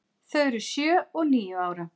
Þau eru sjö og níu ára.